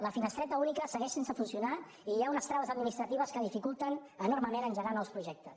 la finestreta única segueix sense funcionar i hi ha unes traves administratives que dificulten enormement engegar nous projectes